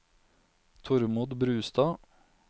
Tormod Brustad